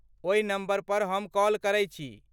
ओहि नम्बर पर हम कॉल करै छी।